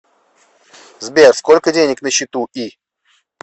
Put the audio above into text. сбер сколько денег на счету и